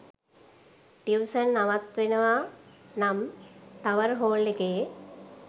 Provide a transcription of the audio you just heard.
tuition නවත්වනවා නම් tower hall එකේ